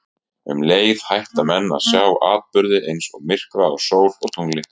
Um leið hætta menn að sjá atburði eins og myrkva á sól og tungli.